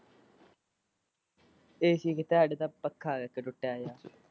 AC ਕਿਥੇ ਸਾਡੇ ਤਾਂ ਇਕ ਪੱਕਾ ਹੈ ਟੁੱਟਾ ਜਿਹਾ।